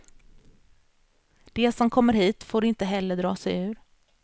De som kommer hit får inte heller dra sig ur.